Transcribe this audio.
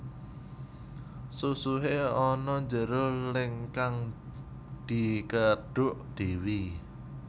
Susuhe ana njero leng kang dikedhuk dhewe